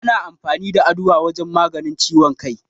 Ana amfani da Aduwa wajen maganin ciwon kai.